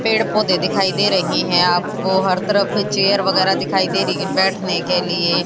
पेड़ पौधे दिखाई दे रहे हैं आप को हर तरफ चेयर वगैरा दिखाई दे रही है बैठने के लिए।